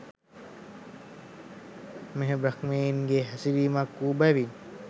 මෙය බ්‍රහ්මයන්ගේ හැසිරීමක් වූ බැවින්